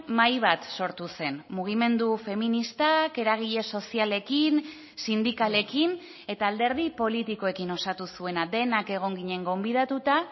mahai bat sortu zen mugimendu feministak eragile sozialekin sindikalekin eta alderdi politikoekin osatu zuena denak egon ginen gonbidatuta